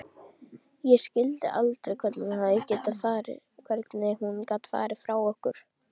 Ég skildi aldrei hvernig hún gat farið frá okkur.